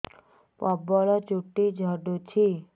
ପ୍ରବଳ ଚୁଟି ଝଡୁଛି